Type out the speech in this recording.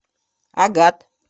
агат